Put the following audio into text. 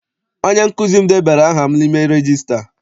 Onye nkụzi m debara aha m n'ime regista.